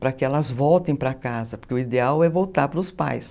Para que elas voltem para casa, porque o ideal é voltar para os pais.